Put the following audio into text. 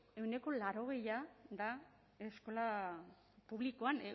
ehuneko laurogeia da eskola publikoan